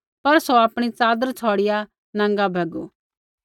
पर सौ आपणी च़ादर छ़ौड़िआ नाँगा भैगू